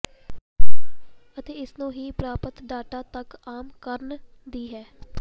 ਅਤੇ ਇਸ ਨੂੰ ਹੀ ਪ੍ਰਾਪਤ ਡਾਟਾ ਤੱਕ ਆਮ ਕਰਨ ਦੀ ਹੈ